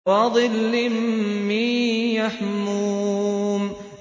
وَظِلٍّ مِّن يَحْمُومٍ